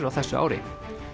á þessu ári